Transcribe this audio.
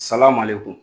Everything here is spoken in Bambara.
Salamalekun